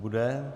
Nebude?